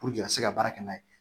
Puruke a ka se ka baara kɛ n'a ye